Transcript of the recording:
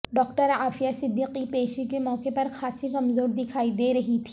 doctor Aafia Siddiqui پیشی کے موقع پر خاصی کمزور دکھائی دے رہی تھی